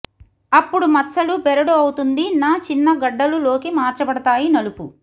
అప్పుడు మచ్చలు బెరడు అవుతుంది న చిన్న గడ్డలు లోకి మార్చబడతాయి నలుపు